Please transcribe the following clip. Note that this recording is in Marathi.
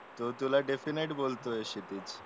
तो तुला डेफिनेट बोलतोय क्षितिज